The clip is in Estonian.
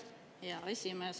Aitäh, hea esimees!